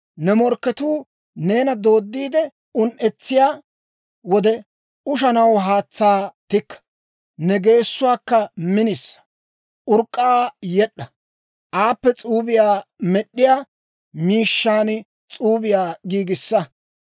Ne morkketuu neena dooddiide un"etsiyaa wode ushanaw haatsaa tikka. Ne geessuwaakka minisa; urk'k'aa yed'd'a; aappe s'uubiyaa med'd'iyaa miishshan s'uubiyaa giigissa.